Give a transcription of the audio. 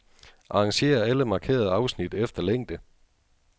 Arrangér alle markerede afsnit efter længde.